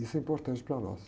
Isso é importante para nós.